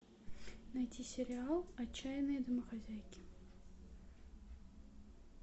найти сериал отчаянные домохозяйки